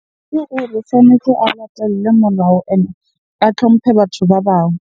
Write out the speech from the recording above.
Ke gore sa motho a latelle molao and a tlhomphe batho ba bang.